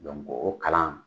Dɔnku o kalan